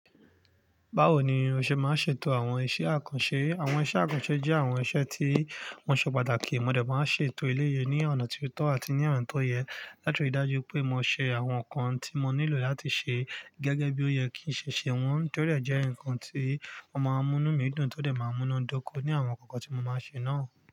Báwo ni mo ṣe máa ṣe ètò àwọn iṣẹ́ àkànṣe? Àwọn iṣẹ́ àkànṣe jẹ́ àwọn iṣẹ́ tí wọ́n ṣe pàtàkì. Mo dẹ̀ máa ṣe ètò ilé yìí ní ọ̀nà tó tọ́ àti ní ọ̀nà tó yẹ, látirí dájú pé mo ṣe àwọn nǹkan tí mo nílò láti ṣe gẹ́gẹ́ bí ó yẹ kí ṣe ṣe wọ́n. Torí ẹ jẹ́ ǹkan tí ó máa ń mú mí dùn tó de máa ń múnadoko ní àwọn nǹkan tí mo máa ṣe náà.